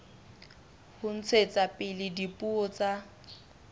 ho ntshetsa pele dipuo tsa